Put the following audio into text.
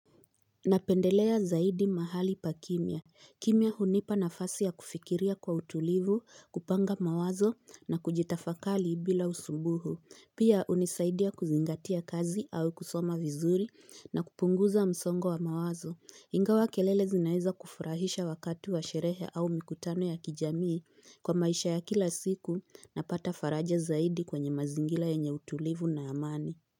Napendelea zaidi mahali pa kimya. Kimya hunipa nafasi ya kufikiria kwa utulivu, kupanga mawazo na kujitafakali bila usubuhu. Pia unisaidia kuzingatia kazi au kusoma vizuri na kupunguza msongo wa mawazo. Ingawa kelele zinaeza kufurahisha wakatu wa sherehe au mikutano ya kijamii kwa maisha ya kila siku na pata faraja zaidi kwenye mazingila ya utulivu na amani.